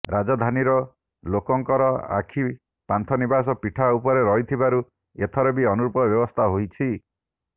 ରାଜଧାନୀର ଲୋକଙ୍କର ଆଖି ପାନ୍ଥନିବାସ ପିଠା ଉପରେ ରହୁଥିବାରୁ ଏଥର ବି ଅନୁରୂପ ବ୍ୟବସ୍ଥା ହୋଇଛି